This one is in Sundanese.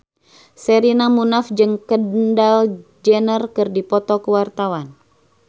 Sherina Munaf jeung Kendall Jenner keur dipoto ku wartawan